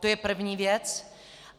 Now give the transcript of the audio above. To je první věc.